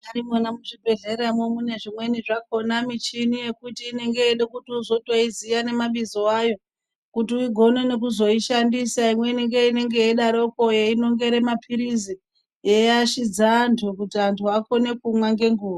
Munyari mwona muzvibhedhlera mwo mune zvimweni zvakhona michini yekuti inenge yeide kuti wozotoiziya nemabizo ayo kuti ugone weizoishandise imweni ngeinenge yeidarokwo yeinongere mapirizi yeiashidza antu kuti antu akone kumwa ngenguwa .